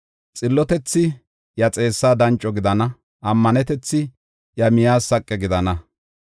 Xillotethi iya xeessa danco gidana; ammanetethi iya miyaas saqe gidana.